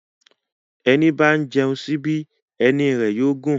Èní bá ń jẹun síbí, èní yóò gún.